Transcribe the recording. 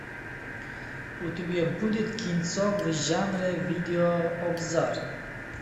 у тебя будет кинцо в жанре видеообзор